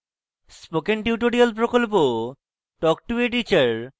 spoken tutorial প্রকল্প talk to a teacher প্রকল্পের অংশবিশেষ